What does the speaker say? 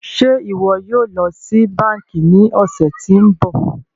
Ṣe iwọ yóò lọ si banki ni ọsẹ ti n bọ?